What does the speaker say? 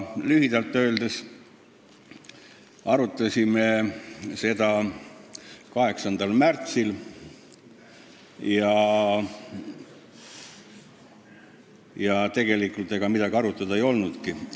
Lühidalt öeldes me arutasime seda 8. märtsil või ega tegelikult midagi arutada ei olnudki.